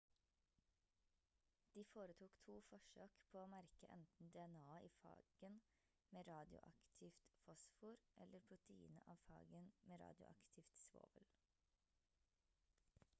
de foretok 2 forsøk på å merke enten dna-et i fagen med radioaktivt fosfor eller proteinet av fagen med radioaktivt svovel